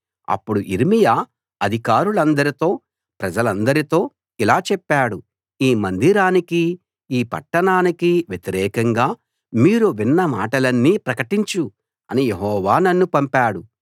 అప్పుడు యిర్మీయా అధికారులందరితో ప్రజలందరితో ఇలా చెప్పాడు ఈ మందిరానికీ ఈ పట్టణానికీ వ్యతిరేకంగా మీరు విన్న మాటలన్నీ ప్రకటించు అని యెహోవా నన్ను పంపాడు